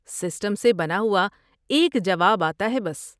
System سے بنا ہوا ایک جواب آتا ہے، بس۔